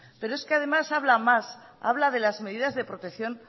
pero es que además hablan más habla de las medidas de protección